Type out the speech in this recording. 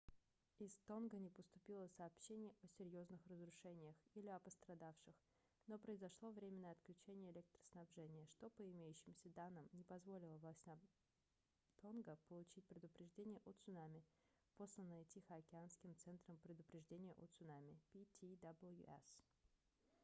из тонга не поступило сообщений о серьезных разрушениях или о пострадавших но произошло временное отключение электроснабжения что по имеющимся данным не позволило властям тонга получить предупреждение о цунами посланное тихоокеанским центром предупреждения о цунами ptwc